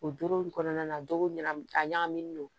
O doro in kɔnɔna na do ɲa a ɲagaminen don